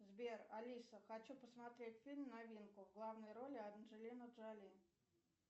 сбер алиса хочу посмотреть фильм новинку в главной роли анджелина джоли